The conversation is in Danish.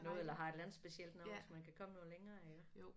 Noget eller har et eller andet specielt navn så man kan komme noget længere iggå